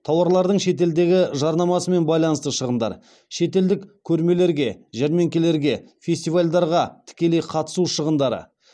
тауарлардың шетелдегі жарнамасымен байланысты шығындар шетелдік көрмелерге жәрмеңкелерге фестивальдарға тікелей қатысу шығындары